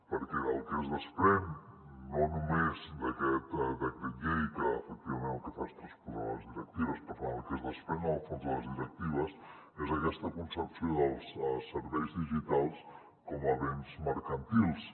perquè del que es desprèn no només d’aquest decret llei que efectivament el que fa és transposar les directives per tant el que es desprèn en el fons de les directives és aquesta concepció dels serveis digitals com a béns mercantils